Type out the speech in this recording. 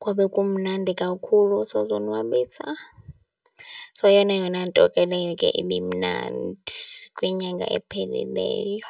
kwabe kumnandi kakhulu, sazonwabisa. So, yeyona yona nto ke leyo ke ibimnandi kwinyanga ephelileyo.